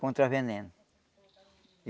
contra veneno.